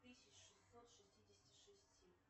тысяч шестьсот шестидесяти шести